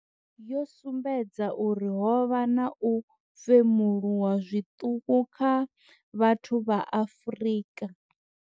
yo sumbedza uri ho vha na u femuluwa zwiṱuku kha vhathu vha Afrika.